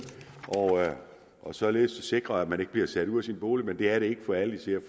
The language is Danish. og således sikrer at man ikke bliver sat ud af sin bolig men det er det ikke for alle især